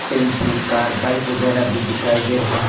Tempo car bike वगैरा भी दिखाई दे रहे हैं।